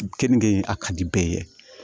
Keninge in a ka di bɛɛ ye